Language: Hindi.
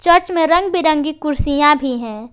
चर्च में रंग बिरंगी कुर्सियां भी है।